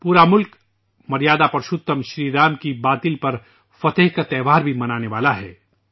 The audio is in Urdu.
پورا ملک مریادا پرشوتم شری رام کے جھوٹ پر فتح کا تہوار بھی منانے جا رہا ہے